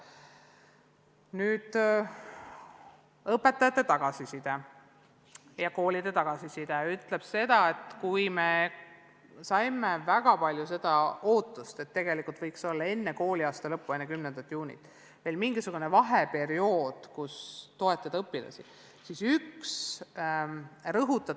Nüüd, õpetajatelt ja koolidelt saadud tagasiside ütleb seda, et tegelikult võiks enne kooliaasta lõppu, enne 10. juunit jääda veel mingisugune vaheperiood, mille ajal saaks õpilastele tuge pakkuda.